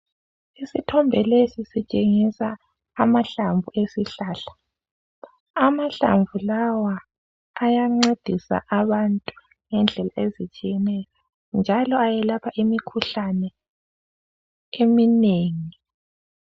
isithombe lesi sitshengisa amahlamvu esihlahla amahlamvu lawa ayancedisa abantu nendlela ezitshiyeneyo njalo ayelapha imikhuhlane eminengi